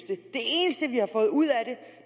det eneste vi har fået ud af